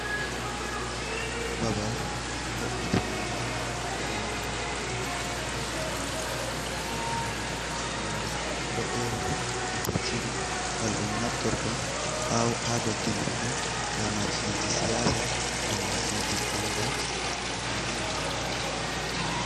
Babal bo’itinangal gadanangal labuleji zamanu ɗolarani noni boɗeri e kecciri gal dum nabtorto ha dogginirgo lamarfiji siyasa lamarfiji bangal eko nandi e majum.